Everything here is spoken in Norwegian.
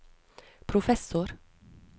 professor